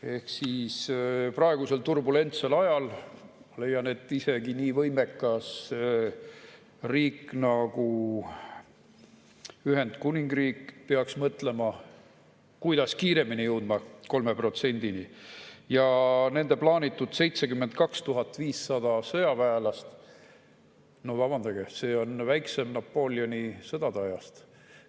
Ehk siis praegusel turbulentsel ajal ma leian, et isegi nii võimekas riik nagu Ühendkuningriik peaks mõtlema, kuidas kiiremini jõuda 3%‑ni, ja nende plaanitud 72 500 sõjaväelast – no vabandage, see on väiksem Napoleoni sõdade ajast.